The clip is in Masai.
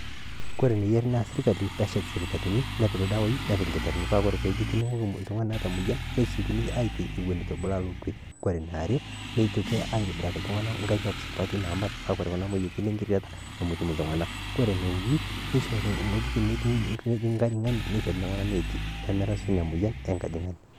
Kore eneyia sirkali peeshet isipitalini nepik ildawaii nepik ilkitarrini paa ore eninguni oltung'ani oota emoyian nesiokini aabak Eton eitu elo kwe, ore eniare neitoki aitobiraki iltung'anak ingariak supati namat paa ore Kuna moyiaritin ore Kuna moyiaritin nemetum iltung'anak ene uni nishori ewujitin natii engajangani neishori iltung'anak neeti pee marasu Ina moyian eng'ojang'ani.